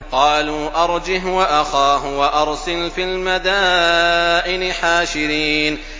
قَالُوا أَرْجِهْ وَأَخَاهُ وَأَرْسِلْ فِي الْمَدَائِنِ حَاشِرِينَ